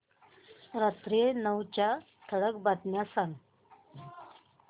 रात्री नऊच्या ठळक बातम्या सांग